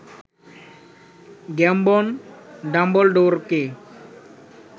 Gambon ডাম্বলডোরকে